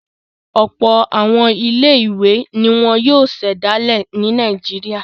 Ọ̀pọ̀ àwọn ilé-ìwé ni wọ́n yóò ṣẹ̀dálẹ̀ ní Nàìjíríà.